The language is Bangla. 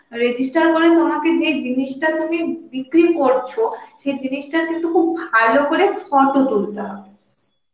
register করে তোমাকে যে জিনিসটা তুমি বিক্রি করছো সে জিনিসটা কিন্তু খুব ভালো করে photo তুলতে হবে